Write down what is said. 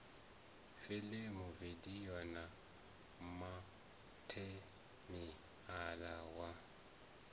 filimu vidio na matheriala wa